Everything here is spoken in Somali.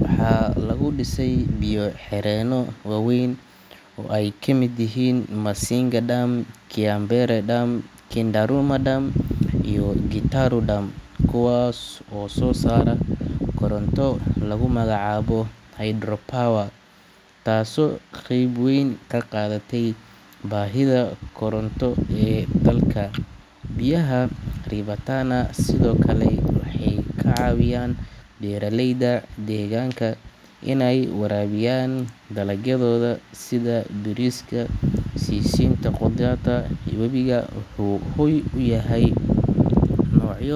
Waxaa lagu dhisay biyo-xireenno waaweyn oo ay ka mid yihiin Masinga Dam, Kiambere Dam, Kindaruma Dam iyo Gitaru Dam, kuwaas oo soo saara koronto lagu magacaabo hydropower taasoo qeyb weyn ka qaadata baahida koronto ee dalka. Biyaha River Tana sidoo kale waxay ka caawiyaan beeraleyda deegaanka inay waraabiyaan dalagyadooda sida bariiska, sisinta iyo khudradda. Webigu wuxuu hoy u yahay noocyo.